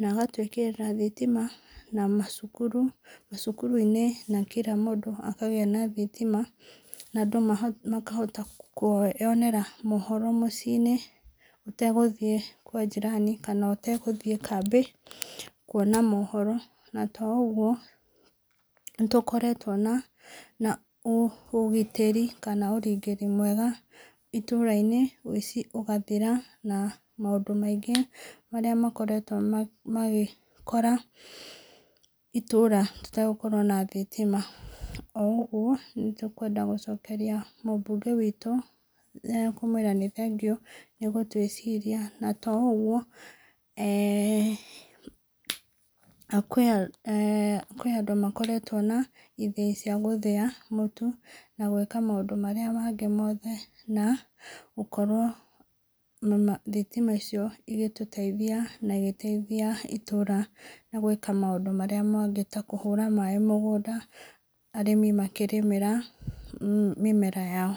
na agatwĩkĩrĩra thitima na macukuru-inĩ na kila mũndũ akagĩa na thitima na andũ makahota kwĩyonera mohoro mĩciĩ-inĩ ũtegũthiĩ kwa njirani kana ũtegũthiĩ kambĩ kwona mohoro na to ũguo, nĩ tũkĩrĩtwo na ũgitĩri mwega itũũra-inĩ na woici ũgathira na maũndũ maingĩ marĩa makoretwo magĩkora itũũra tũtegũkorwo na thitima. O ũguo nĩ tũkwenda gũcokeria mũmbunge witũ ngatho na kũmwĩra nĩ thengiũ nĩ gũtwĩciria na to ũguo eeh kwĩ andũ makoretwo na ithĩi cia gũthĩa mũtu na gwĩka maũndũ marĩa mangĩ mothe na gũkorwo thitima icio igĩtũteithia na igĩteithia itũũra na gwĩka maũndũ marĩa mangĩ ta kũhũra maĩ mũgũnda arĩmi makĩrĩmĩra mĩmera yao.